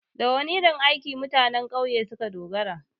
Da wana irin aiki mutanen ƙauye suka dogara?